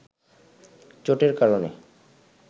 চোটের কারণে